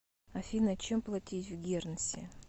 афина чем платить в гернси